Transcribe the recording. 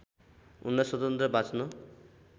उनलाई स्वतन्त्र बाँच्न